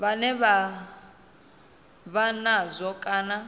vhane vha vha nazwo kana